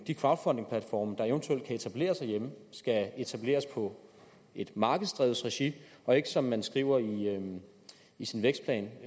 de crowdfundingplatforme der eventuelt kan etableres herhjemme skal etableres på et markedsdrevet regi og ikke som man skriver i i sin vækstplan at